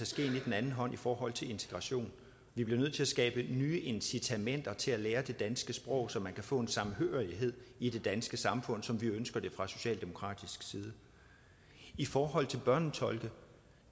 skeen i den anden hånd i forhold til integration vi bliver nødt til at skabe nye incitamenter til at lære det danske sprog så man kan få en samhørighed i det danske samfund som vi ønsker det fra socialdemokratisk side i forhold til børnetolke